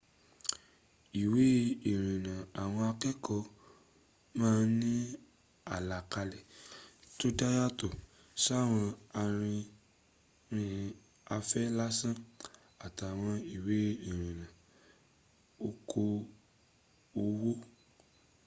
ìwé ìrìnnà àwọn akẹ́ẹ̀kọ́ má ń ní àlàkalẹ̀ tó dá yàtọ̀ sáwọn arìnrìn afẹ́ lásán àtàwọn ìwé ìrìnnà okoòwò